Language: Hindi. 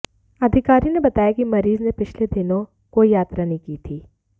अधिकारी ने बताया कि मरीज ने पिछले दिनों कोई यात्रा नहीं की थी